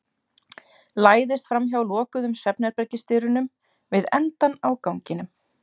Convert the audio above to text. Læðist framhjá lokuðum svefnherbergisdyrunum við endann á ganginum.